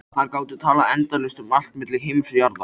Þær gátu talað endalaust um allt milli himins og jarðar.